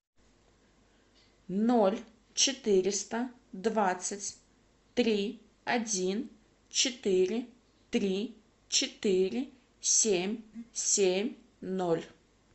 ноль четыреста двадцать три один четыре три четыре семь семь ноль